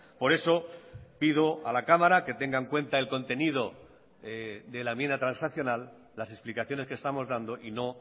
por eso pido a la cámara que tenga en cuenta el contenido de la enmienda transaccional las explicaciones que estamos dando y no